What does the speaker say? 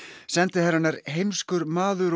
sendiherrann er heimskur maður